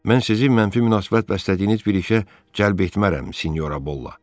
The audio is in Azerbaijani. Mən sizi mənfi münasibət bəslədiyiniz bir işə cəlb etmərəm, Senyora Bolla.